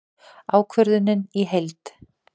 Ákvörðunin í heild